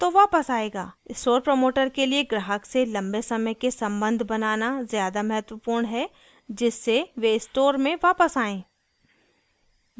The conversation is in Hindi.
स्टोर प्रमोटर के लिए ग्राहक से लम्बे समय के सम्बन्ध बनाना ज़्यादा महत्वपूर्ण है जिससे वे स्टोर में वापस आएं